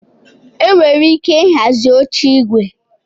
Enwere ike ịhazi oche igwe